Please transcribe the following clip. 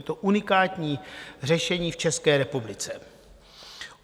Je to unikátní řešení v České republice.